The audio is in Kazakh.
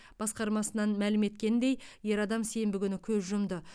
басқармасынан мәлім еткеніндей ер адам сенбі күні көз жұмды